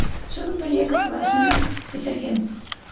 соның бір екі класын да бітірген